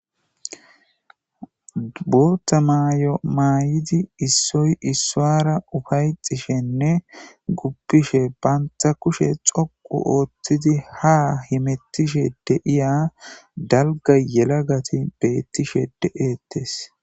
Boththa mayo mayidda issoyi isuwara uffayetishenne gufishshe banita kushshe dhoqqu oththidi haa hemetishshe de'iya daligga yelagati betishshe de'etees.